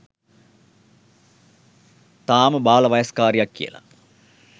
තාම බාලවයස්කාරියක් කියලා